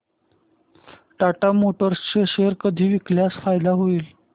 Tata motors चे share कधी विकल्यास फायदा होईल